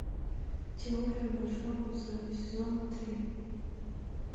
теория большого взрыва сезон три